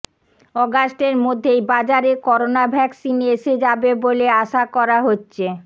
অগাস্টের মধ্যেই বাজারে করোনা ভ্যাকসিন এসে যাবে বলে আশা করা হচ্ছে